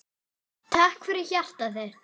Takk fyrir hjartað þitt.